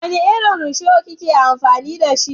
Wani irin rusho ki ke amfani da?